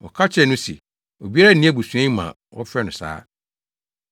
Wɔka kyerɛɛ no se, “Obiara nni abusua yi mu a wɔfrɛ no saa.”